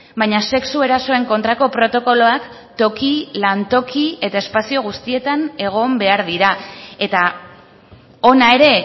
baina sexu erasoen kontrako protokoloak toki lantoki eta espazio guztietan egon behar dira eta hona ere